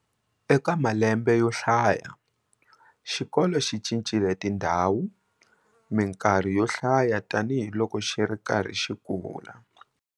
Eka malembe yo hlaya, xikolo xi cincile tindhawu mikarhi yo hlaya tanihi loko xi ri karhi xi kula.